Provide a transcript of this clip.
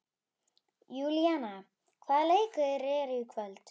Júlíana, hvaða leikir eru í kvöld?